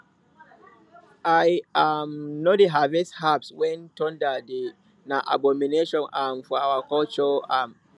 i um no dey harvest herbs when thunder dey na abomination um for our culture um